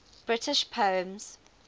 british poems